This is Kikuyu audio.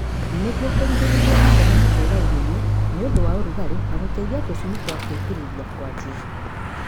Nĩguo kũgirĩrĩria vitameni kũra irioini nĩũndũ wa ũrugalĩ na gũteithia tũshui twa gwĩkurulia kwanjia